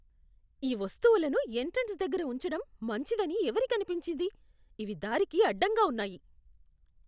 ఈ వస్తువులను ఎంట్రన్స్ దగ్గర ఉంచడం మంచిదని ఎవరికి అనిపించింది? ఇవి దారికి అడ్డంగా ఉన్నాయి.